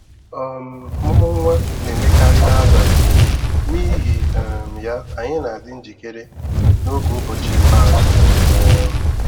um Ọmụmụ nwa na-emekarị n'abalị, n'ihi um ya, anyị na-adi njikere n’oge ụbọchị ikpeazụ. um